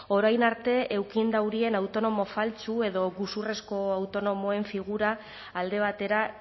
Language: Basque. orain arte eukin daurien autonomo faltsu edo gezurrezko autonomoen figura alde batera